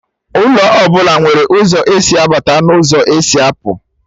Ụlọ ọbụla nwere ụzọ esi abata n'ụzọ esi apụ